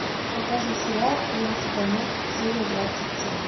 покажи сериал клиент всегда мертв серия двадцать семь